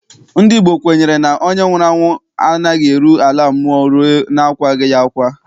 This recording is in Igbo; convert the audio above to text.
Ndị Igbo kwenyere na onye nwụrụ anwụ anaghị eru ala mmụọ rue na akwaa ya akwa.